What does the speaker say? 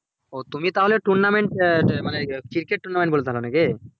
ওহ তুমি তাহলে tournament মানে cricket tournament বলছিলা নাকি?